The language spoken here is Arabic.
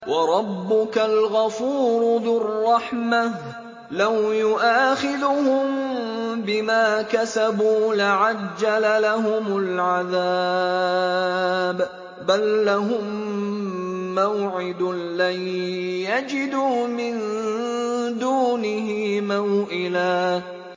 وَرَبُّكَ الْغَفُورُ ذُو الرَّحْمَةِ ۖ لَوْ يُؤَاخِذُهُم بِمَا كَسَبُوا لَعَجَّلَ لَهُمُ الْعَذَابَ ۚ بَل لَّهُم مَّوْعِدٌ لَّن يَجِدُوا مِن دُونِهِ مَوْئِلًا